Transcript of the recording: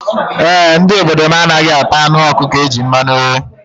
E, ndị obodo m anaghị ata anụ ọkụkọ e ji mmanụ ghee.